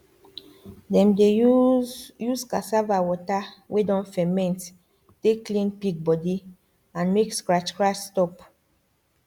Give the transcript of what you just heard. dem dey use use cassava water wey don ferment take clean pig body and make scratch scratch stop